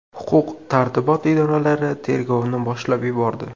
Huquq-tartibot idoralari tergovni boshlab yubordi.